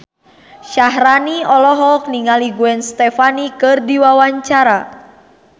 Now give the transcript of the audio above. Syaharani olohok ningali Gwen Stefani keur diwawancara